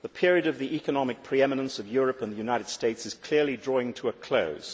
The period of the economic pre eminence of Europe and the United States is clearly drawing to a close.